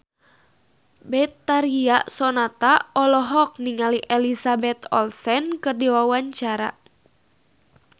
Betharia Sonata olohok ningali Elizabeth Olsen keur diwawancara